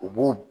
U b'u